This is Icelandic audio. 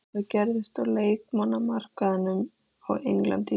Hvað gerist á leikmannamarkaðinum á Englandi í sumar?